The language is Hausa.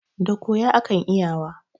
Da koya akan iyawa.